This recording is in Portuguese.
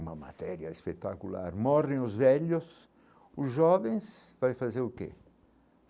Uma matéria espetacular, morrem os velhos, os jovens vai, fazer o quê?